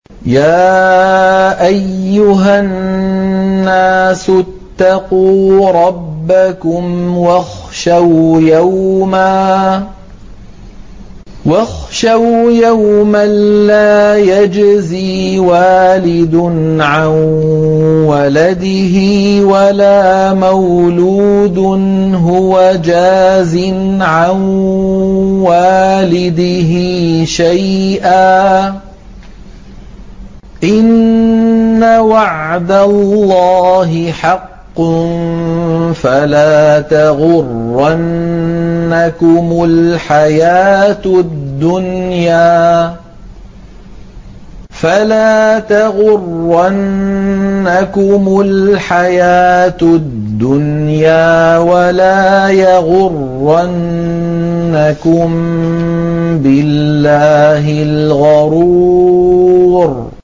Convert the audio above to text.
يَا أَيُّهَا النَّاسُ اتَّقُوا رَبَّكُمْ وَاخْشَوْا يَوْمًا لَّا يَجْزِي وَالِدٌ عَن وَلَدِهِ وَلَا مَوْلُودٌ هُوَ جَازٍ عَن وَالِدِهِ شَيْئًا ۚ إِنَّ وَعْدَ اللَّهِ حَقٌّ ۖ فَلَا تَغُرَّنَّكُمُ الْحَيَاةُ الدُّنْيَا وَلَا يَغُرَّنَّكُم بِاللَّهِ الْغَرُورُ